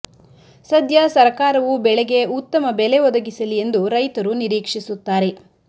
ಸದ್ಯ ಸರಕಾರವು ಬೆಳೆಗೆ ಉತ್ತಮ ಬೆಲೆ ಒದಗಿಸಲಿ ಎಂದು ರೈತರು ನಿರೀಕ್ಷಿಸುತ್ತಾರೆ